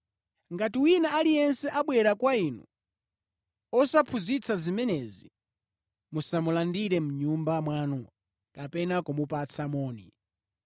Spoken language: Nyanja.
Ngati wina aliyense abwera kwa inu osaphunzitsa zimenezi, musamulandire mʼnyumba mwanu kapena kumupatsa moni.